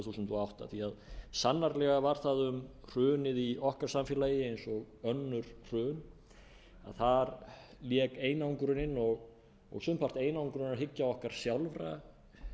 þúsund og átta því að sannarlega var það um hrunið í okkar samfélagi eins og önnur hrun þar lék einangrunin og sumpart einangrunarhyggja okkar sjálfra